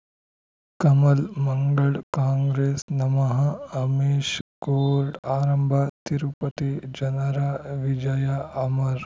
ಕಮಲ್ ಮಂಗಳ್ ಕಾಂಗ್ರೆಸ್ ನಮಃ ಅಮಿಷ್ ಕೋರ್ಟ್ ಆರಂಭ ತಿರುಪತಿ ಜನರ ವಿಜಯ ಅಮರ್